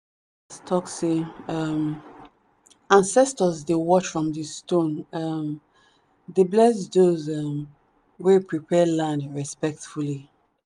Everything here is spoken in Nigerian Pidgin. talk say um ancestors dey watch from the stone um dey bless those um wey prepare land respectfully.